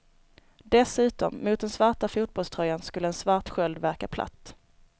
Dessutom, mot den svarta fotbollströjan skulle en svart sköld verka platt.